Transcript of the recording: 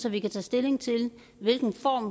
at vi kan tage stilling til hvilken form